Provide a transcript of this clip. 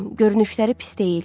Görünüşləri pis deyil.